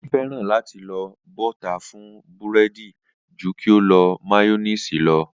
Adé fé̩ràn láti lo bó̩tà fún búré̩dì ju kí ó lo máyó̩néèsì lo̩